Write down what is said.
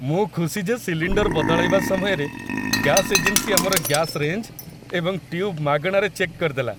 ମୁଁ ଖୁସି ଯେ ସିଲିଣ୍ଡର ବଦଳାଇବା ସମୟରେ ଗ୍ୟାସ ଏଜେନ୍ସି ଆମର ଗ୍ୟାସ ରେଞ୍ଜ ଏବଂ ଟ୍ୟୁବ୍ ମାଗଣାରେ ଚେକ୍ କରିଦେଲା।